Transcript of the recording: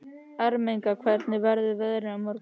Ermenga, hvernig verður veðrið á morgun?